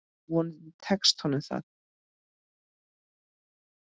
Vonandi tekst honum það.